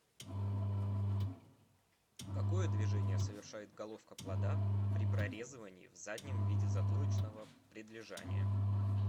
какое движение совершает головка плода при прорезывании в заднем виде затылочного предлежания